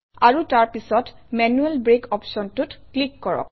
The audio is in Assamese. আৰু তাৰ পিছত মেনুৱেল ব্ৰেক অপশ্যনটোত ক্লিক কৰক